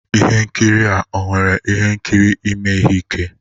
Ihe nkiri a ọ nwere ihe nkiri ime ihe ike